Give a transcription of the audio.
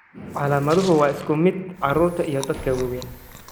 Calaamaduhu waa isku mid carruurta iyo dadka waaweyn.